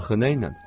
Axı nəylə?